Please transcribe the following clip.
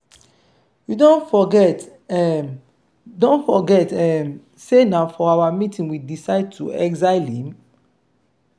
you don forget um don forget um say na for our meeting we decide to exile him.